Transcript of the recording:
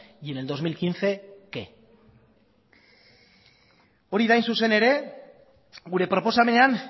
y en el dos mil quince qué hori da hain zuzen ere gure proposamenean